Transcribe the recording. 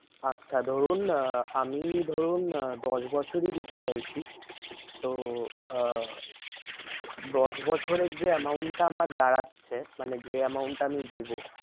আচ্ছা ধরুন আহ আমি ধরুন আহ দশ বছরই দিতে চাইছি। তো আহ দশ বছরের যে amount টা আমার দাঁড়াচ্ছে মানে যে amount টা আমি দেবো